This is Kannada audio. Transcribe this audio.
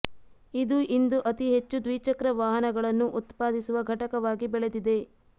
ಇದು ಇಂದು ಅತಿ ಹೆಚ್ಚು ದ್ವಿಚಕ್ರ ವಾಹನಗಳನ್ನು ಉತ್ಪಾದಿಸುವ ಘಟಕವಾಗಿ ಬೆಳೆದಿದೆ